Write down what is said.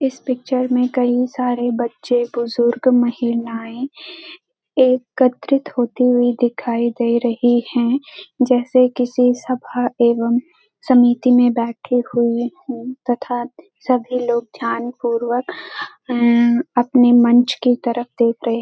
इस पिक्चर में कई सारे बच्चे बुजुर्ग महिलाएँ एकत्रित होती हुई दिखाई दे रही हैं जैसे किसी सभा एवं समिति में बैठी हुई तथा सभी लोग ध्यान पूर्वक उम्म अपने मंच की तरफ देख रहे हैं।